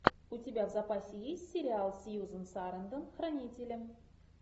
у тебя в запасе есть сериал сьюзан сарандон хранители